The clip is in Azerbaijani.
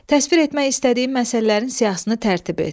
Təsvir etmək istədiyin məsələlərin siyahısını tərtib et.